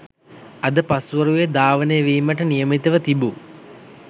අද පස්වරුව් ධාවනය වීමට නියමිතව තිබූ